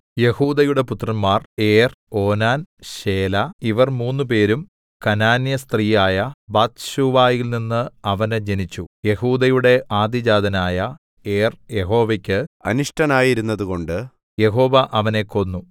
യെഹൂദയുടെ പുത്രന്മാർ Er Onan Shelah ഇവർ മൂന്നുപേരും കനാന്യസ്ത്രീയായ ബത്ശൂവയിൽ നിന്ന് അവന് ജനിച്ചു യെഹൂദയുടെ ആദ്യജാതനായ ഏർ യഹോവയ്ക്ക് അനിഷ്ടനായിരുന്നതുകൊണ്ട് യഹോവ അവനെ കൊന്നു